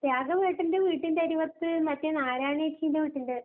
രാഘവേട്ടന്റെ വീട്ടിന്റരുവത്ത് മറ്റേ നാരായണിയേച്ചീന്റെ വീട്ടില്.